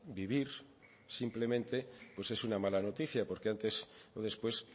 vivir simplemente pues es una mala noticia porque antes o después